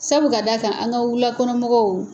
Sabu ka d'akan an ka wulakɔnɔmɔgɔw